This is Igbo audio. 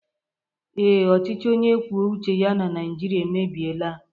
Ee, ọchịchị onye kwuo uche ya na Naijiria emebiela